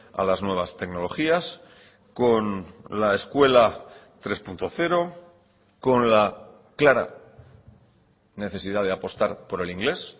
a las nuevas tecnologías con la escuela tres punto cero con la clara necesidad de apostar por el inglés